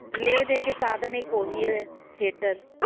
ਲੈ ਦੇ ਕੇ ਸਾਧਨ ਇੱਕ ਉਹ ਹੀ ਹੈ theater